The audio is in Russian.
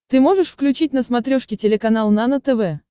ты можешь включить на смотрешке телеканал нано тв